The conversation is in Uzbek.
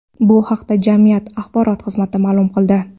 Bu haqda jamiyat axborot xizmati ma’lum qildi .